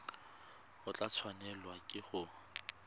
o tla tshwanelwa ke go